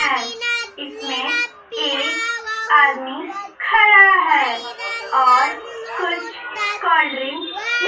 है इसने एक आदमी खड़ा है और कुछ कोलड्रिंक --